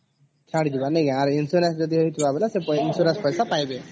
ଛାଡ଼ ଯିବା ନେଇକରି କି ଆଉ insurance ହେଇଚି ଯଦି ସେ insurance ପଇସା ପାଇବେ